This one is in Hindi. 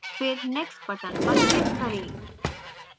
फिर next button पर click करें